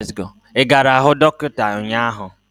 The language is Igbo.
Ị gara hụ dọkịta ụnyaahụ?